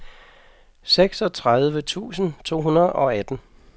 seksogtredive tusind to hundrede og atten